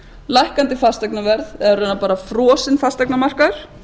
lækkandi fasteignaverð eða í raun bara frosinn fasteignamarkaði